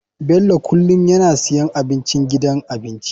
Bello kullum yana siyan abincin gidan abinci.